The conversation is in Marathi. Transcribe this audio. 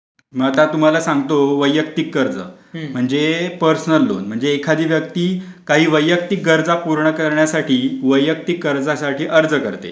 मा ता तुम्हाला सांगतो वैयक्तिक कर्ज म्हणजे पर्सनल लोन म्हणजे एखादी व्यक्ती काही वैयक्तिक गरजा पूर्ण करण्यासाठी वैयक्तिक कर्जासाठी अर्ज करते.